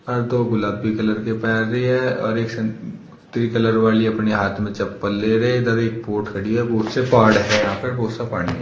और दो गुलाबी कलर के पैर रही है और एक संतरी कलर वाली अपने हाथ में चप्पल ले रहे इधर एक बोट खड़ी है बहोत से पहाड़ है यहां पर बहोत सा पानी है।